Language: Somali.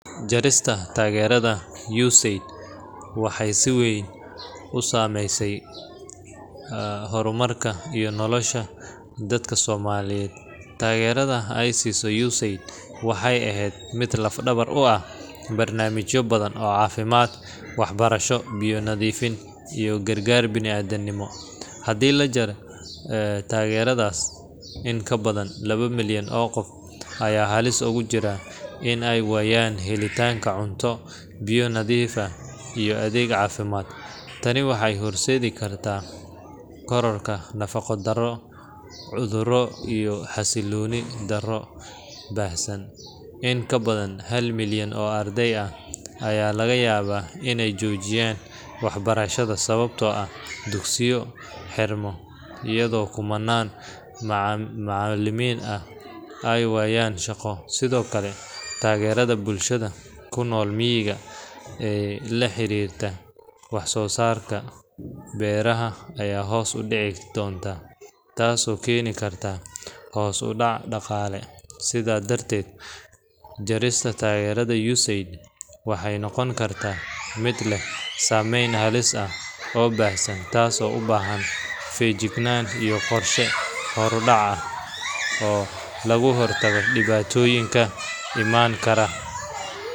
Jarista taageerada USAID waxay si weyn u saameyn kartaa horumarka iyo nolosha dadka Soomaaliyeed. Taageerada ay siiso USAID waxay ahayd mid laf-dhabar u ah barnaamijyo badan oo caafimaad, waxbarasho, biyo nadiif ah iyo gargaar bini'aadanimo. Haddii la jaro taageeradaas, in ka badan laba milyan oo qof ayaa halis ugu jira in ay waayaan helitaanka cunto, biyo nadiif ah iyo adeeg caafimaad. Tani waxay horseedi kartaa kororka nafaqo-darro, cudurro iyo xasilooni darro baahsan. In kabadan hal milyan oo arday ayaa laga yaabaa inay joojiyaan waxbarashada sababtoo ah dugsiyo xirma, iyadoo kumannaan macallimiin ahna ay waayaan shaqo. Sidoo kale, taageerada bulshada ku nool miyiga ee la xiriirta wax-soo-saarka beeraha ayaa hoos u dhici doonta, taasoo keeni karta hoos u dhac dhaqaale. Sidaa darteed, jarista taageerada USAID waxay noqon kartaa mid leh saameyn halis ah oo baahsan, taasoo u baahan feejignaan iyo qorshe horudhac ah oo looga hortago dhibaatooyinka iman kara.